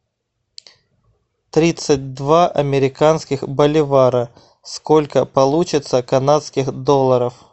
тридцать два американских боливара сколько получится канадских долларов